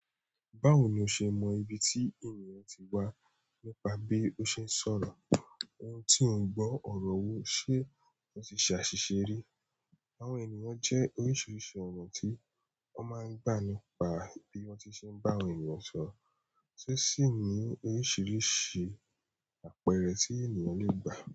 Báwo ni o ṣe mọ ibi tí ènìyàn ti wá nípa bí ó ṣe ń sọ̀rọ̀? Ohun tí ò ń gbọ́ ọ̀rọ̀ wo ṣe ó ti ṣe àṣìṣe rí. Àwọn ènìyàn jẹ́ oríṣiríṣi ọ̀nà tí wọ́n máa ń gbà nípa bí wọ́n ti ṣe ń bá àwọn ènìyàn sọ̀rọ̀, tó sì ní oríṣiríṣi àpẹẹrẹ tí ènìyàn le gbà.